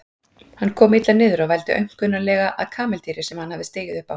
Hann kom illa niður og vældi aumkunarlega að kameldýri sem hann hafði stigið upp á.